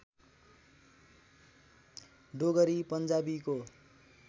Dogri पन्जाबीको